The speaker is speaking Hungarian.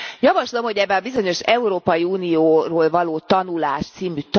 Javaslom, hogy ebbe a bizonyos Európai Unióról való tanulás c.